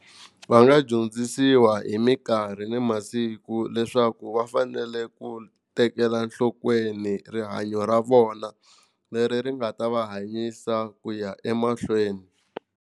Va nga dyondzisiwa hi minkarhi ni masiku leswaku va fanele ku tekela nhlokweni rihanyo ra vona leri ri nga ta va hanyisa ku ya emahlweni.